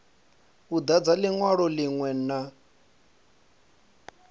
u dadza linwalo linwe na